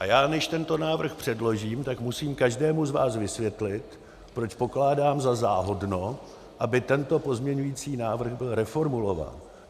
A já, než tento návrh předložím, tak musím každému z vás vysvětlit, proč pokládám za záhodno, aby tento pozměňovací návrh byl reformulován.